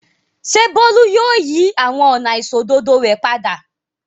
Ṣé Bólú yóò yí àwọn ọ̀nà àìṣòdodo rẹ̀ padà?